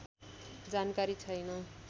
जानकारी छैन